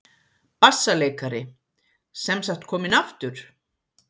BASSALEIKARI: Sem sagt kominn aftur?